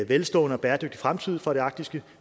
velstående og bæredygtig fremtid for det arktiske